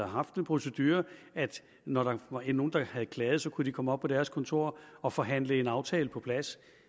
haft den procedure at når der var nogle der havde klaget kunne de komme op på deres kontor og forhandle en aftale på plads